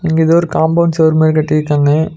இங்க எதோ ஒரு காம்பவுண்ட் செவுரு மாரி கட்டிருக்காங்க.